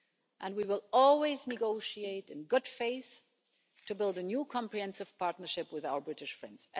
And we will always negotiate in good faith to build a new comprehensive partnership with our British friends.